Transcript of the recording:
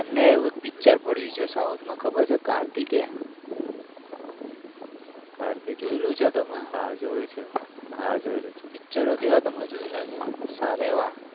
એમના ઉપર એક પિક્ચર પડ્યું છે સાઉથમાં ખબર છે કાર્તિક જોયેલું છે તમે આ જોયેલું છે પિક્ચરો કેવા છે તમે જોયેલા છે સારા એવા.